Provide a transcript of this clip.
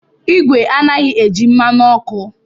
Igwe anaghị eji mmanụ ọkụ.